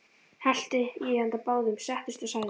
Hellti í handa báðum, settist og sagði